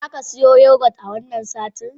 Za ka siyo yogurt a wannan satin?